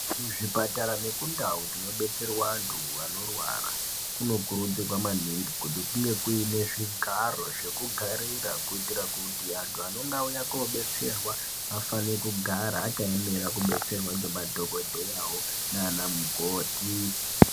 Muzvipatara nemundau dzinobadetsera antu anorwara kunokurudzirwa maningi kuti kunge kunezvigaro zvekugarira zvekuitira kuti antu anenge auya kodetserwa afane kugara akaemera kubatsirwa ngemadhokoteyawo nana mukoti.